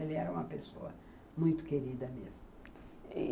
Ele era uma pessoa muito querida mesmo.